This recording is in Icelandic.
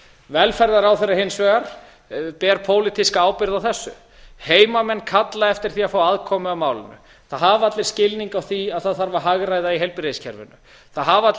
velferðarráðherra hins vegar ber pólitíska ábyrgð á þessu heimamenn kalla eftir því að fá aðkomu að málinu það hafa allir skilning á því að það þarf að hagræða í heilbrigðiskerfinu það hafa allir